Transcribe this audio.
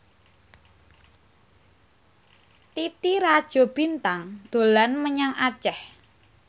Titi Rajo Bintang dolan menyang Aceh